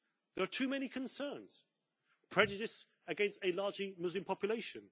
There are too many concerns prejudice against a largely Muslim population